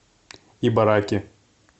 ибараки